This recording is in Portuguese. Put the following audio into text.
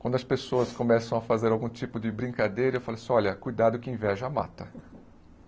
Quando as pessoas começam a fazer algum tipo de brincadeira, eu falo assim, olha, cuidado que inveja mata.